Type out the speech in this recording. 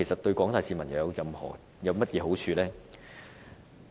對廣大市民又有甚麼好處呢？